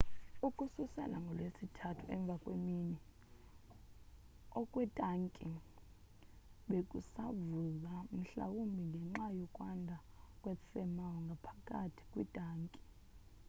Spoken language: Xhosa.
ukususela ngolwesithathu emva kwemini okwetanki bekusavuza mhlawumbi ngenxa yokwanda kwe thermal ngaphakathi kwintanki